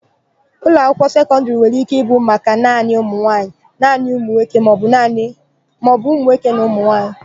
Ụlọakwụkwọ sekọndịrị nwere ike ịbụ maka naanị ụmụnwaanyị, naanị ụmụnwoke maọbụ ụmụnwoke na ụmụnwaanyị.